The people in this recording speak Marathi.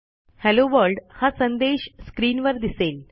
हेल्लो वर्ल्ड हा संदेश स्क्रीनवर दिसेल